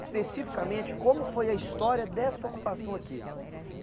Especificamente, como foi a história dessa ocupação aqui?